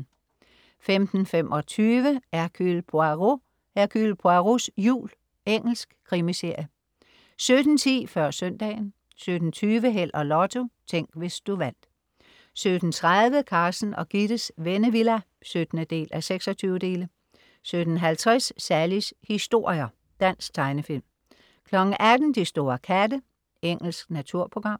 15.25 Hercule Poirot: Hercule Poirots jul. Engelsk krimiserie 17.10 Før søndagen 17.20 Held og Lotto. Tænk, hvis du vandt 17.30 Carsten og Gittes Vennevilla 17:26 17.50 Sallies historier. Dansk tegnefilm 18.00 De store katte. Engelsk naturprogram